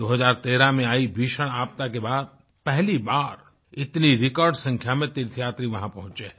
2013 में आई भीषण आपदा के बाद पहली बार इतनी रिकॉर्ड संख्या में तीर्थयात्री वहाँ पहुंचें हैं